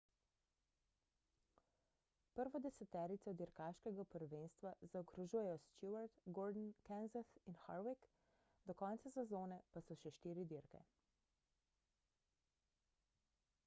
prvo deseterico dirkaškega prvenstva zaokrožujejo stewart gordon kenseth in harvick do konca sezone pa so še štiri dirke